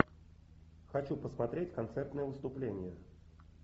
хочу посмотреть концертное выступление